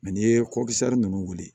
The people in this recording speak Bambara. n'i ye ninnu wuli